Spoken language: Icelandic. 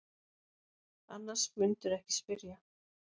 Annars mundirðu ekki spyrja.